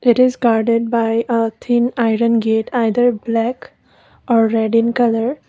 it is garden by a thin iron gate either black are red in colour